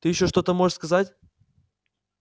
ты ещё что-то можешь сказать